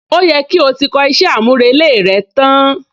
Ó yẹ kí o ti kọ iṣẹ́ àmúrelé rẹ tán?